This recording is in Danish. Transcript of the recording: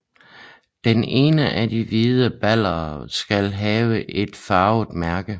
Den ene af de hvide baller skal have et farvet mærke